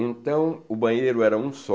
Então, o banheiro era um só.